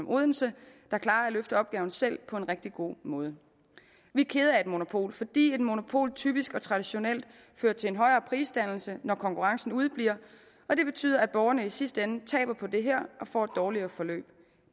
odense klarer at løfte opgaven selv på en rigtig god måde vi er kede af et monopol fordi et monopol typisk og traditionelt fører til en højere prisdannelse når konkurrencen udebliver og det betyder at borgerne i sidste ende taber på det her og får et dårligere forløb